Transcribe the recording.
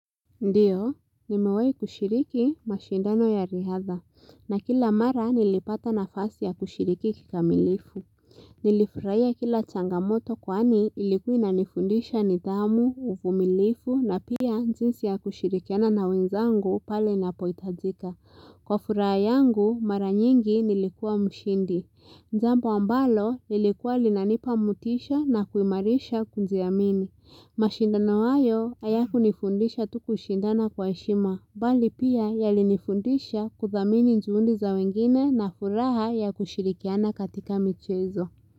Ndiyo, nimewahi kushiriki mashindano ya riadha, na kila mara nilipata nafasi ya kushiriki kikamilifu. Nilifurahia kila changamoto kwani ilikuwa inanifundisha nidhamu, uvumilifu, na pia njinsi ya kushirikiana na wenzangu pale ninapohitajika. Kwa furaha yangu, mara nyingi nilikuwa mshindi. Jambo ambalo, lilikuwa linanipa motisha na kuimarisha kujiamini. Mashindano hayo hayakunifundisha tu kushindana kwa heshima bali pia yalinifundisha kuthamini njuundi za wengine na furaha ya kushirikiana katika michezo.